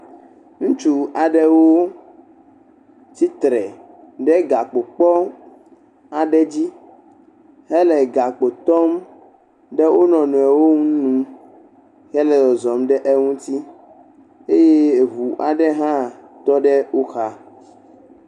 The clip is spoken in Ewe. Amehatsotso aɖewo le afi sia, wo katã wokɔ abɔ ɖo ɖe dzi. Edze fãa be kpovitɔ aɖewo alo dedienɔnɔ dɔdzikpɔlawo léwo ɖe vodada aɖe ta.